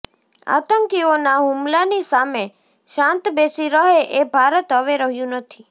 આતંકીઓના હુમલાની સામે શાંત બેસી રહે એ ભારત હવે રહ્યું નથી